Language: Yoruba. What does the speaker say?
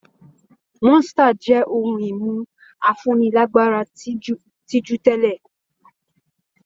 Monster jẹ́ ohun-ìmu afúnilágbára tí jù tẹ́lẹ̀.